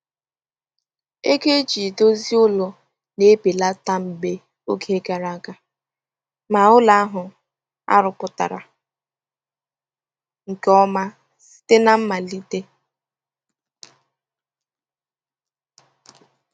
Ego eji edozi ụlọ na-ebelata mgbe oge gara aga ma ụlọ ahụ arụpụtara nke ọma site na mmalite.